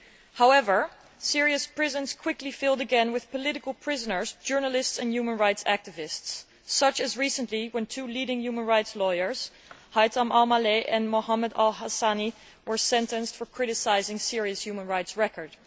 However, Syria's prisons quickly filled again with political prisoners, journalists and human rights activists, such as recently when two leading human rights lawyers, Haythan Al Maleh and Muhammad al Hasani were sentenced for criticising Syria's human rights record.